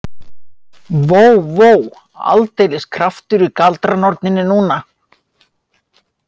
Vó, vó, aldeilis kraftur í galdranorninni núna.